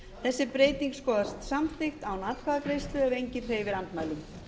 þessi breyting skoðast samþykkt án atkvæðagreiðslu ef enginn hreyfir andmælum